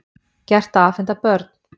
Gert að afhenda börn